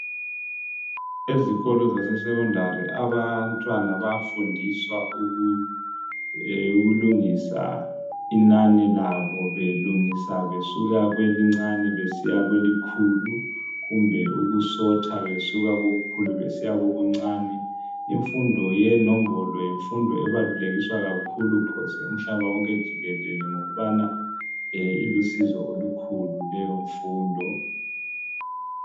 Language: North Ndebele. Ezikolo zase Secondary abantwana bayafundiswa ukulungisa inani labo besuka kwelincane besiyakwelikhulu kumbe ukusorter besuka kokukhulu besiyakokuncani imfundo yenombolo yimfundo ebalulekiswa kakhulu phose umhlaba wonke jikelele ngokubana ilusizo olukhulu leyo mfundo